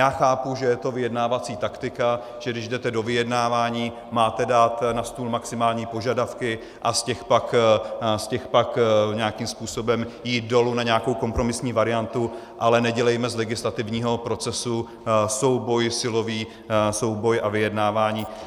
Já chápu, že je to vyjednávací taktika, že když jdete do vyjednávání, máte dát na stůl maximální požadavky a z těch pak nějakým způsobem jít dolů na nějakou kompromisní variantu, ale nedělejme z legislativního procesu souboj silový, souboj a vyjednávání.